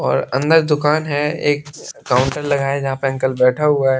और अंदर दुकान है एक काउंटर लगाया यहाँ पे अंकल बैठा हुआ है।